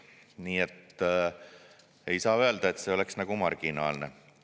Nii et ei saa öelda, et see oleks marginaalne.